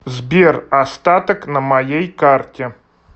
сбер остаток на моей карте